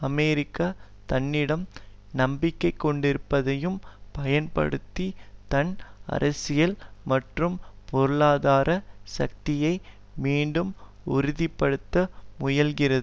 America தன்னிடம் நம்பிக்கை கொண்டிருப்பதையும் பயன்படுத்தி தன் அரசியல் மற்றும் பொருளாதார சக்தியை மீண்டும் உறுதிபடுத்த முயல்கிறது